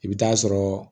I bɛ taa sɔrɔ